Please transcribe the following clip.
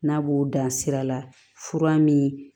N'a b'o dan sira la fura min